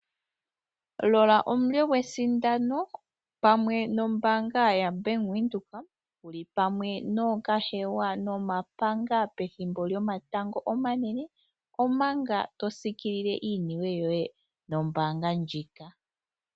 Lola omulyo gwesindano pamwe nombaanga ya Bank Windhoek wu li pamwe nookahewa nomapanga pethimbo lyomatango omanene, omanga to siikilile iiniwe yoye nombaanga ndjika.